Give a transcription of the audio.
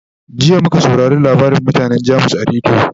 jiya muka saurare labarin mutanan jamus a rediyo